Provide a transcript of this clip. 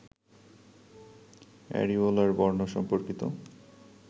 areolar বর্ণ সম্পর্কিত